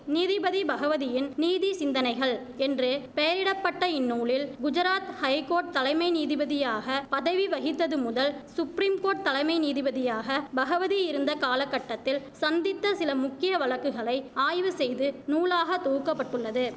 நீதிபதி பகவதியின் நீதிசிந்தனைகள் என்று பெயரிட பட்ட இந்நூலில் குஜராத் ஹைகோட் தலைமை நீதிபதியாக பதவி வகித்ததுமுதல் சுப்ரிம்கோட் தலைமை நீதிபதியாக பகவதி இருந்த காலகட்டத்தில் சந்தித்த சில முக்கிய வழக்குகளை ஆய்வுசெய்து நூலாக தொவுக்கப்பட்டுள்ளது